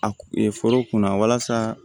A kun ye foro kunna walasa